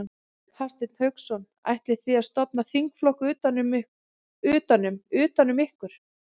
Hafsteinn Hauksson: Ætlið þið að stofna þingflokk utan um, utan um ykkur?